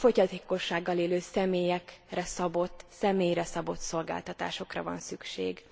A fogyatékossággal élő személyekre szabott, személyre szabott szolgáltatásokra van szükség.